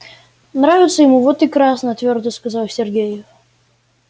нравится ему вот и красные твёрдо сказал сергей